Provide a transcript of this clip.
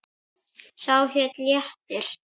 Sá hét Léttir.